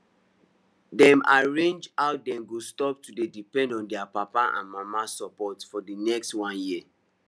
dem arrange how dem go stop to dey depend on their papa and mama support for the next one year